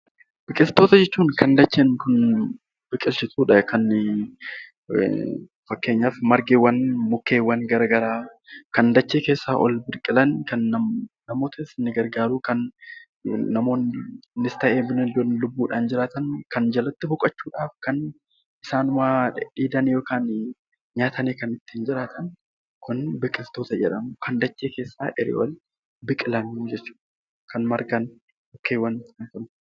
Biqiltoota jechuun kan dacheen kuni biqilchitu dha. Fakkeenyaaf margeewwan, mukkeewwan gara garaa kan dachee keessaa ol biqilan, namootas ni gargaaruu kan namoonnis ta'e, bineeldonni lubbuu dhaan jiraatan kan jalatti boqochuu dhaaf, kan isaan dheedhanii yookaan kan nyaatanii kan ittiin jiraatan kun 'Biqiltoota' jedhamu. Kan dachee keessaa asii ol biqilan jechuu dha, kan margan, mukeewwan.